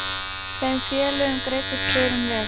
Þeim félögum greiddist förin vel.